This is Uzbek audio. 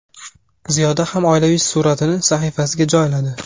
Ziyoda ham oilaviy suratini sahifasiga joyladi.